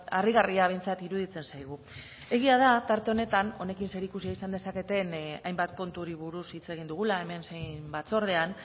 harrigarria behintzat iruditzen zaigu egia da tarte honetan honekin zerikusia izan dezaketen hainbat konturi buruz hitz egin dugula hemen zein batzordean